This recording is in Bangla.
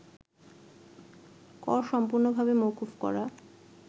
কর সম্পূর্ণভাবে মওকুফ করা